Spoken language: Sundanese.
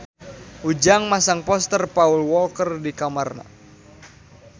Ujang masang poster Paul Walker di kamarna